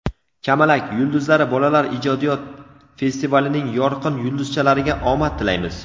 "Kamalak" yulduzlari bolalar ijodiyot festivalining yorqin yulduzchalariga omad tilaymiz!.